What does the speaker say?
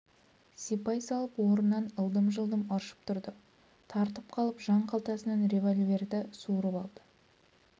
сипай салып орнынан ылдым-жылдым ыршып тұрды тартып қалып жан қалтасынан револьверді суырып алды